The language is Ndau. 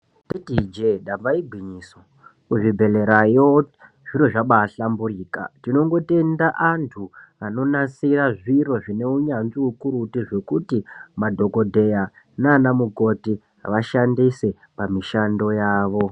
Tauti ije apa igwinyiso kuzvibhlera yo zviro zvabahlamburika tinongotenda antu anonasire zviro zvine unyanzvi ukurutu zvekuti madhokodheya nanamukoti vashandise pamishando yavo